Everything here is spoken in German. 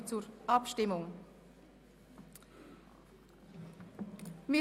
5. Dezember 2017, 19.00–20.00 Uhr